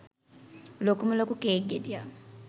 ලොකුම ලොකු කේක් ගෙඩියක්.